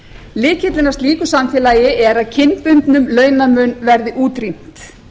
lykillinn að slíku samfélagi er að kynbundnum launamun verði útrýmt